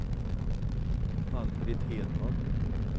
Ann-Britt Hedman